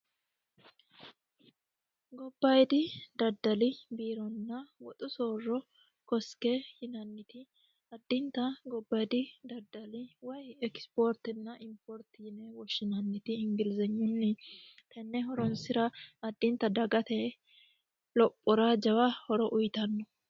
gobbayidi daddali biironna woxu soorro kosike yinanniti addinta gobbayidi daddali wayi ekisipoortinna importi yine woshshinanniti ingilizenyunni tenne horonsira addinta dagate lophora jawa horo uyitanno.